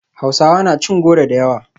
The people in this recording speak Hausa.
Hausawa na cin goro da yawa